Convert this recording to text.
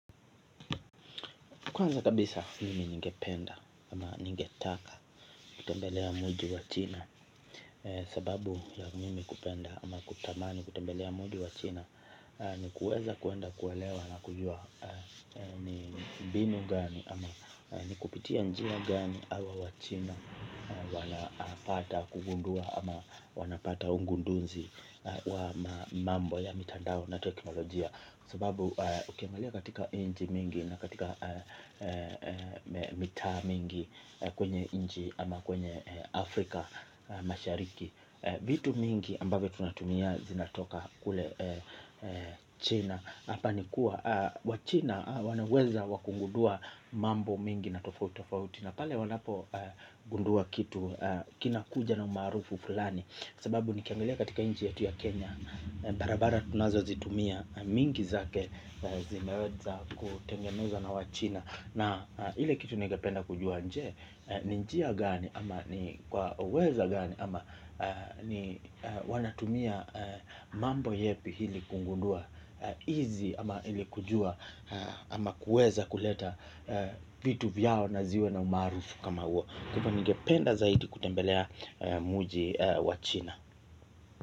Kwanza kabisa mimi ningependa ama ningetaka kutembelea mwiji wa china. Sababu ya mimi kupenda ama kutamani kutembelea mwiji wa china ni kuweza kuenda kuelewa na kujua ni mbinu gani ama nikupitia njia gani hao wachina wanapata kugundua ama wanapata ugunduzi wa mambo ya mitandao na teknolojia kwa sababu ukiangalia nchi mingi na katika mingi kwenye inchi ama kwenye Africa mashariki. Vitu mingi ambavyo tunatumia zinatoka kule China. Hapa nikuwa, wa China wanaweza wakugundua mambo mingi na tofauti tofauti na pale wanapo gundua kitu kina kuja na umarufu fulani. Sababu nikiangalia katika inchi yetu ya Kenya Barabara tunazo zitumia mingi zake zimeweza kutengenezwa na wachina na ile kitu ningependa kujua je, ni njia gani ama ni kwa uwezo gani ama ni wanatumia mambo yapi ili kugundua hizi ama hili kujua ama kuweza kuleta vitu vyao na ziwe na umaarufu kama huo kwa hivyo ningependa zaidi kutembelea mji wa china.